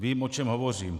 Vím, o čem hovořím.